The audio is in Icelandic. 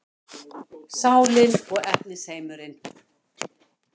Sálin og efnisheimurinn